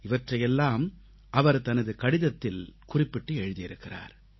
இவற்றையெல்லாம் அவர் தனது கடிதத்தில் குறிப்பிட்டு எழுதியிருக்கிறார்